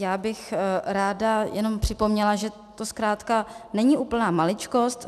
Já bych ráda jenom připomněla, že to zkrátka není úplná maličkost.